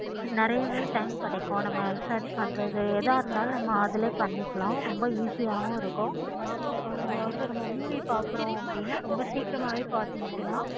நெறையாவே time கிடைக்கு நம்ம search பண்றது எத இருந்தாலும் அதுலையே பண்ணிக்கலாம். ரொம்ப easy யாவும் இருக்கு. ஆஹ் சொல்லுங்க movie பார்க்கிறோம். ரொம்ப சீக்கிராமே பார்த்து முடிஜிடலாம்.